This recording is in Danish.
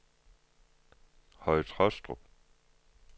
Høje Tåstrup